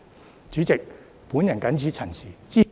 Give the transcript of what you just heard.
代理主席，我謹此陳辭。